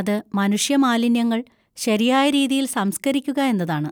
അത് മനുഷ്യ മാലിന്യങ്ങൾ ശരിയായ രീതിയിൽ സംസ്കരിക്കുക എന്നതാണ്.